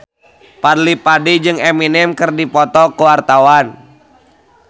Fadly Padi jeung Eminem keur dipoto ku wartawan